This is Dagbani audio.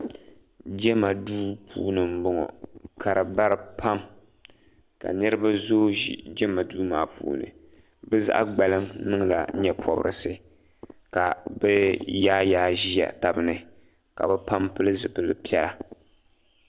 Jema duu puuni m boŋɔ ka di bara pam ka niriba zoo ʒi jema duu maa puuni bɛ zaɣa gbaliŋ niŋla nyɛpobrisi ka bɛ yaayaagi ʒia tabini ka bɛ pam pili zipilpiɛla.